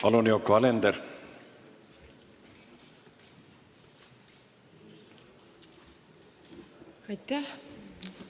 Palun, Yoko Alender!